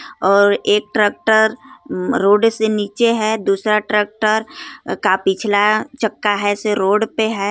और एक ट्रैक्टर अम रोड से नीचे है दूसरा ट्रैक्टर का पिछला चक्का है से रोड पे है.